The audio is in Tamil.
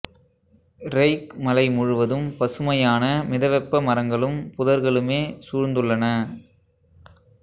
ரெய்க் மலை முழுவதும் பசுமையான மிதவெப்ப மரங்களும் புதர்களுமே சூழ்ந்துள்ளன